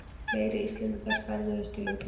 Fleiri Íslendingar ferðuðust til útlanda